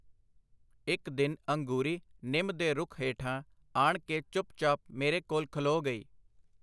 ਇਕ ਦਿਨ ਅੰਗੂਰੀ ਨਿੰਮ ਦੇ ਰੁੱਖ ਹੇਠਾਂ ਆਣ ਕੇ ਚੁੱਪ ਚਾਪ ਮੇਰੇ ਕੋਲ ਖਲੋ ਗਈ.